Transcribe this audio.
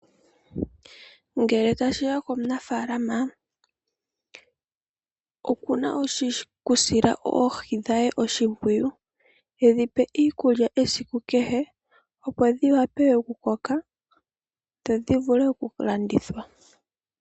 Ngele tashi ya komunaafalama okuna okusila oohi dhe oshimpwiyu e dhi pe iikulya esiku kehe ,opo dhi wape okukoka dho dhi vule okulandithwa.